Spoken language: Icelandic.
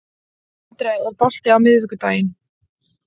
Andrea, er bolti á miðvikudaginn?